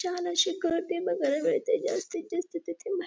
छान अशी गर्दी वगैरे बघायला मिळते जास्तीत जास्त तेथे मा --